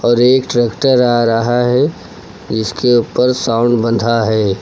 और एक ट्रैक्टर आ रहा है जिसके ऊपर साउंड बंधा है।